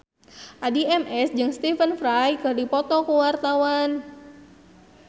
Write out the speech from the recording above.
Addie MS jeung Stephen Fry keur dipoto ku wartawan